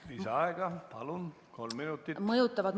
Lisaaeg, palun!